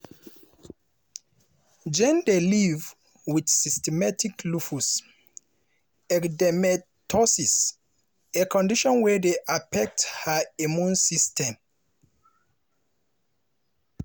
jane dey live wit systemic lupus erythematosus a condition wey dey affect her immune system.